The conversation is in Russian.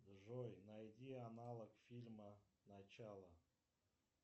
джой найди аналог фильма начало